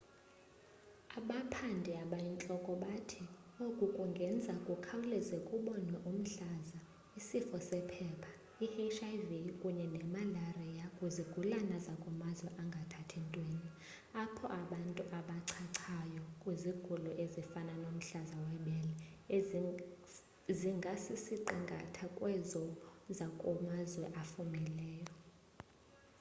abaphandi abayintloko bathi oku kungenza kukhawuleze kubonwe umhlaza isifo sephepha i-hiv kunye nemalariya kwizigulana zakumazwe angathathi ntweni apho abantu abachachayo kwizigulo ezifana nomhlaza webele zingasisiqingatha sezo zakumazwe afumileyo